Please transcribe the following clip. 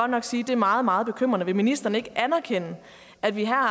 nok sige er meget meget bekymrende vil ministeren ikke anerkende at vi har